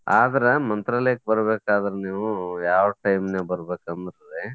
ಆದ್ರ ಮಂತ್ರಾಲಯಕ್ಕ್ ಬರ್ಬೇಕಾದ್ರ್ ನೀವು ಯಾವ time ನೀವು ಬರ್ಬೇಕಂದ್ರೆ